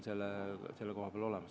Kalle Laanet, palun!